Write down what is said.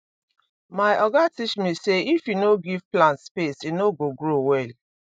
my oga teach me say if you no give plant space e no go grow well